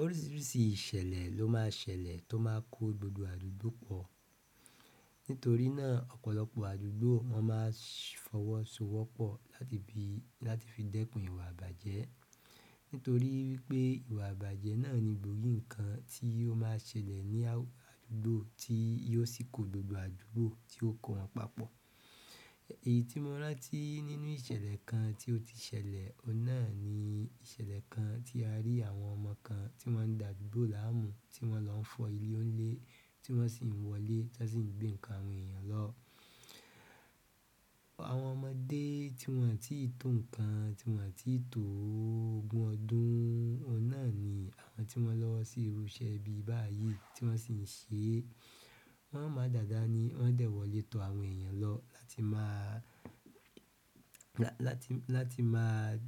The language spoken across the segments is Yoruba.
Oríṣiríṣi ìṣẹ̀lẹ̀ lo ma n ṣẹlẹ̀ to ma n ko gbogbo àdúgbò po. Nítorí náà, ọ̀pọ̀lọpọ̀ àdúgbò wọ́n má a fọwọ́sowọ́pọ̀ láti fi dẹ́kun ìwà abàjẹ́. Nítorí wípé ìwà abàjẹ́ náà ni gbòógì nǹkan tí ó má a ṣẹlẹ̀ ní àdúgbò tí yio sì kó gbogbo àdúgbò tí ó kó wọn papọ̀. Èyí tí mo rántí nínú ìṣẹ̀lẹ̀ kan tí ó ti ṣẹlẹ̀, ọ̀unà ni ìṣẹ̀lẹ̀ kan tí a rí àwọn ọmọ kan tí wọ́n ń dà àdúgbò láàmú, tí wọ́n ń lọ fọ́ ilé onilè, tí wọ́n sì ń wọlé tí wọ́n sì ń gbé nǹkan àwọn èèyàn lọ. Àwọn ọmọdé tí wọn à tí ì tó nǹkan, tí wọn à tí ì tó ogún ọdún, ọ̀unà ni àwọn tí wọ́n lọ sí irú iṣẹ́ bíi báyìí tí wọ́n sì ń ṣe, wọ́n máa dàda ní wọ́n dẹ̀ wọlé to àwọn èèyàn lọ láti má a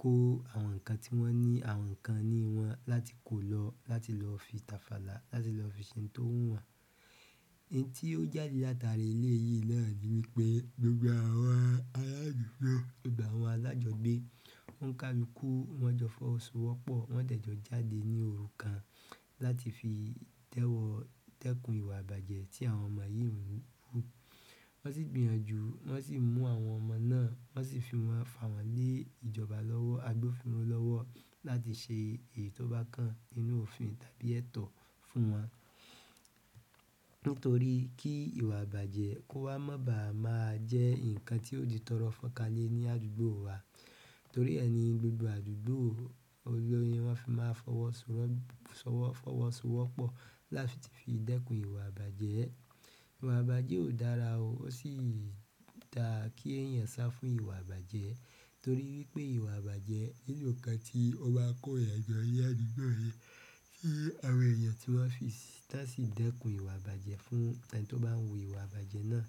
kó àwọn nǹkan tí wọ́n ní àwọn nǹkan ní wọn láti kó lọ, láti lọ fi tàfàlá, láti lọ fi ṣe ohun tó wùn wọn. Ìn tí ó jáde látara ilẹ̀ yìí náà ni wípé gbogbo àwọn alájọgbe oun ká lukú, wọ́n jọ fọwọ́sowọ́pọ̀, wọ́n dẹ̀ jọ jáde ní òru kan láti fi tẹ́kun ìwà abàjẹ́ tí àwọn ọmọ yìí ń rú. Wọ́n sì gbìyànjú, wọ́n sì mú àwọn ọmọ náà, wọ́n sì fi wọn fà wọ́n lé ìjọba lọ́wọ́, agbófinró lọ́wọ́ láti ṣe èyí tó bá kan nínú òfin tàbí ẹ̀tọ́ fún wọn. Nítorí ki ìwà abaje ko wa ma ba je nkan tio di toro fo oka le ni adugo wa torí ẹni gbogbo àdúgbò, ohun ni wan fi máa fọwọ́sowọ́pọ̀ láti fi dẹ́kun ìwà abàjẹ́. Ìwà abàjẹ́ ò dára o, ó sì dáa kí èèyàn sá fún ìwà abàjẹ́. Torí wípé ìwà abàjẹ́ o yóò kan tí ó ma n kó ìyà je ni àdúgbò yi ti àwọn èèyàn tí wọ́n fi tan si dẹ́kun ìwà ìbàjẹ́ fún ẹni tí ó bá ń wu ìwà abàjẹ́ náà.